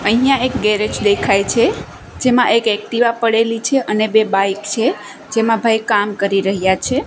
અહિયા એક ગેરેજ દેખાઇ છે જેમા એક એક્ટિવા પડેલી છે અને બે બાઇક છે જેમા ભાઈ કામ કરી રહ્યા છે.